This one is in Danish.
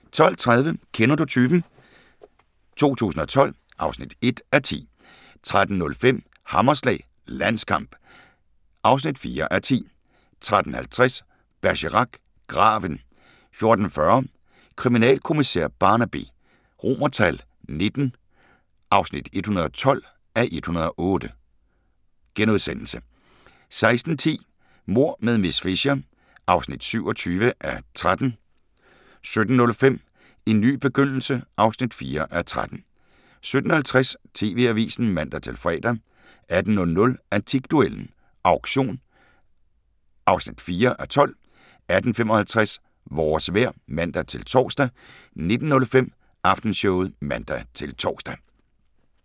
12:30: Kender du typen? 2012 (1:10) 13:05: Hammerslag – Landskamp (4:10) 13:50: Bergerac: Graven 14:40: Kriminalkommissær Barnaby XIX (112:108)* 16:10: Mord med miss Fisher (27:13) 17:05: En ny begyndelse (4:13) 17:50: TV-avisen (man-fre) 18:00: Antikduellen – Auktion (4:12) 18:55: Vores vejr (man-tor) 19:05: Aftenshowet (man-tor)